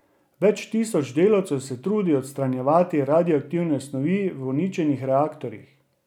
Več tisoč delavcev se trudi odstranjevati radioaktivne snovi v uničenih reaktorjih.